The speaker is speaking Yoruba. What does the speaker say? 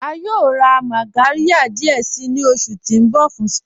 À yóò rá mágàryà díẹ̀ sí ni oṣù ti n bọ̀ fún spa